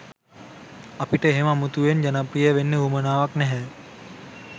අපිට එහෙම අමුතුවෙන් ජනප්‍රිය වෙන්න වුවමනාවක් නැහැ.